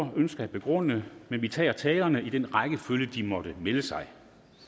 ønsker at begrunde men vi tager talerne i den rækkefølge de måtte melde sig